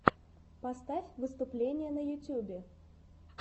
поставь выступления на ютубе